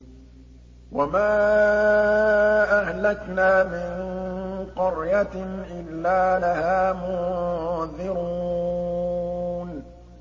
وَمَا أَهْلَكْنَا مِن قَرْيَةٍ إِلَّا لَهَا مُنذِرُونَ